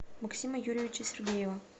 максима юрьевича сергеева